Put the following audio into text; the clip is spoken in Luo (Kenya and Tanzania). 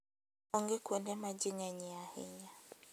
Onge kuonde ma ji ng'enyie ahinya.